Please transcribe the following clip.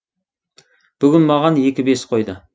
бүгін маған екі бес қойды